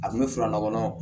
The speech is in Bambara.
A kun bɛ fara ɲɔgɔn